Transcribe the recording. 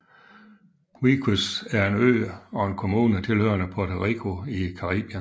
Vieques er en ø og en kommune tilhørende Puerto Rico i Caribien